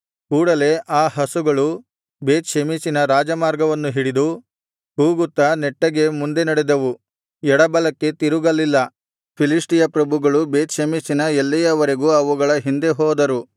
ಕೂಡಲೆ ಆ ಹಸುಗಳು ಬೇತ್ ಷೆಮೆಷಿನ ರಾಜಮಾರ್ಗವನ್ನು ಹಿಡಿದು ಕೂಗುತ್ತಾ ನೆಟ್ಟಗೆ ಮುಂದೆ ನಡೆದವು ಎಡಬಲಕ್ಕೆ ತಿರುಗಲಿಲ್ಲ ಫಿಲಿಷ್ಟಿಯ ಪ್ರಭುಗಳು ಬೇತ್ ಷೆಮೆಷಿನ ಎಲ್ಲೆಯವರೆಗೂ ಅವುಗಳ ಹಿಂದೆ ಹೋದರು